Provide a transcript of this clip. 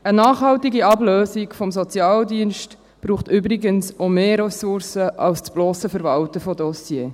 Eine nachhaltige Ablösung vom Sozialdienst braucht übrigens auch mehr Ressourcen als das blosse Verwalten von Dossiers.